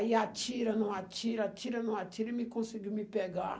Aí atira, não atira, atira, não atira e me conseguiu me pegar.